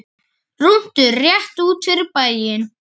Rúntur rétt út fyrir bæinn.